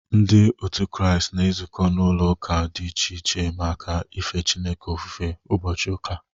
Ndị otu Kraịst na-ezukọ n’ụlọ ụka dị iche iche maka ife Chineke ofufe ụbọchị ụka.